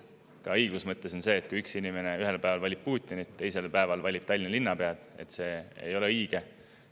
Ka õiguse mõttes on nii, et kui inimene ühel päeval valib Putinit ja teisel päeval valib Tallinna linnapead, siis see ei ole õige.